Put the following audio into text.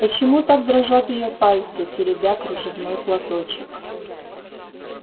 почему так дрожат её пальцы теребя кружевной платочек